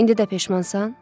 İndi də peşmansan?